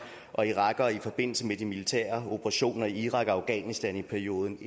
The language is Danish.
og irakere i forbindelse med de militære operationer i irak og afghanistan i perioden